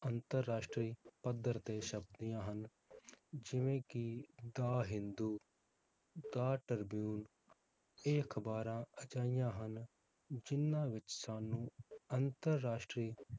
ਅੰਤਰ-ਰਾਸ਼ਟਰੀ ਪੱਧਰ ਤੇ ਛਪਦੀਆਂ ਹਨ ਜਿਵੇ ਕਿ the ਹਿੰਦੂ, the ਟ੍ਰਿਬਿਊਨ, ਇਹ ਅਖਬਾਰਾਂ ਅਜਿਹੀਆਂ ਹਨ ਜਿਹਨਾਂ ਵਿਚ ਸਾਨੂੰ ਅੰਤਰ-ਰਾਸ਼ਟਰੀ